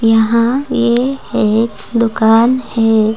यहाँ यह एक दुकान है।